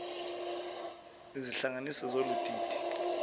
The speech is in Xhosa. izihlanganisi zolu didi